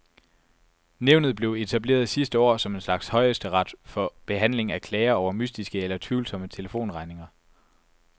Nævnet blev etableret sidste år som en slags højesteret for behandling af klager over mystiske eller tvivlsomme telefonregninger.